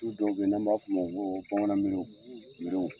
dɔw bɛ ye n'an b'a f'ulu ma ko bamanan miriw miriw.